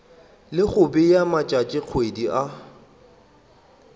le go bea matšatšikgwedi a